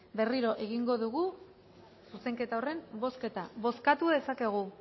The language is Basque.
berriro egingo dugu zuzenketa horren bozketa bozkatu dezakegu